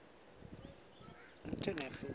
metsimaholo